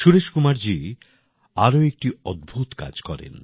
সুরেশ কুমারজি আরও একটি অদ্ভুত কাজ করেন